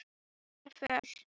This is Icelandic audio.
Hún var föl.